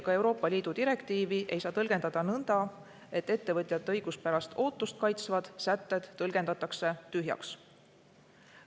Ka Euroopa Liidu direktiivi ei saa tõlgendada nõnda, et ettevõtjate õiguspärast ootust kaitsvad sätted tõlgendatakse tühjaks.